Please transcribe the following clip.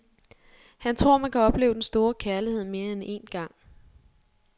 Han tror, man kan opleve den store kærlighed mere end én gang.